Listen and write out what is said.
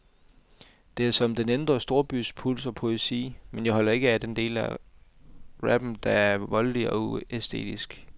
Det er som den indre storbys puls og poesi, men jeg holder ikke af den del af rappen, der er voldelig og uæstetisk.